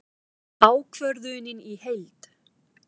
Ákvörðunin í heild